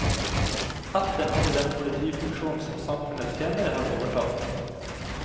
Ætten hadde den politifunksjon som samfunnet senere har overtatt.